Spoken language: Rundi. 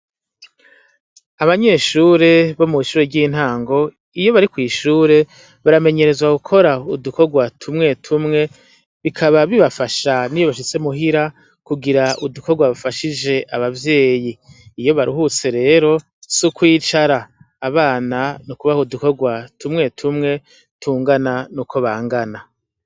Abanyeshure bomwishure ryintango iyobari kwishure baramenyerezwa gukora udukorwa tumwe tumwe bikaba bibafasha niyo bashitse muhira kugira udukorwa bafashije abavyeyi iyo baruhutse rero sukwicara abana nukubaha udukorwa twume twumwe dukwiranye nuko bangana